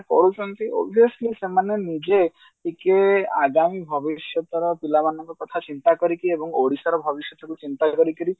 କରୁଛନ୍ତି obviously ସେମାନେ ନିଜେ ଟିକେ ଆଗାମୀ ଭବିଷ୍ୟତର ପିଲାମାନଙ୍କ କଥା ଚିନ୍ତା କରିକି ଏବଂ ଓଡିଶାର ଭବିଷ୍ୟତ କଥା ଚିନ୍ତା କରିକିରି